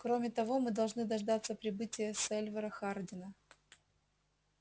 кроме того мы должны дождаться прибытия сальвора хардина